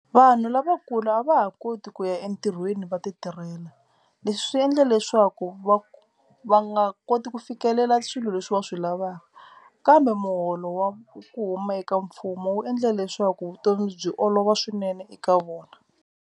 Vanhu lavakulu a va ha koti ku ya entirhweni va titirhela. Leswi swi endla leswaku va va nga koti ku fikelela swilo leswi va swi lavaka kambe muholo wa ku huma eka mfumo wu endla leswaku vutomi byi olova swinene eka vona.